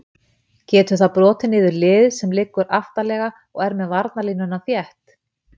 Getur það brotið niður lið sem liggur aftarlega og er með varnarlínuna þétt?